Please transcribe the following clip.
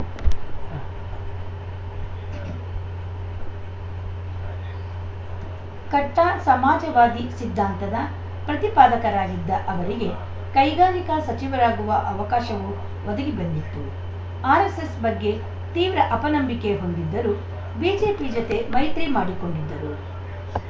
ಕಟ್ಟಾಸಮಾಜವಾದಿ ಸಿದ್ಧಾಂತದ ಪ್ರತಿಪಾದಕರಾಗಿದ್ದ ಅವರಿಗೆ ಕೈಗಾರಿಕಾ ಸಚಿವರಾಗುವ ಅವಕಾಶವೂ ಒದಗಿ ಬಂದಿತ್ತು ಆರ್‌ಎಸ್‌ಎಸ್‌ ಬಗ್ಗೆ ತೀವ್ರ ಅಪನಂಬಿಕೆ ಹೊಂದಿದ್ದರೂ ಬಿಜೆಪಿ ಜೊತೆ ಮೈತ್ರಿ ಮಾಡಿಕೊಂಡಿದ್ದರು